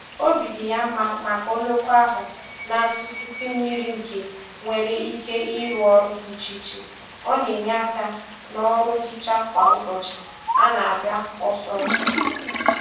Obi dị ya mma maka oloko ahụ na - atụsịsị mmiri nke nwere ike ịrụ ọrụ dị iche iche, ọ na-enye aka n' ọrụ nhicha kwa ụbọchị a na-aga ọsọọsọ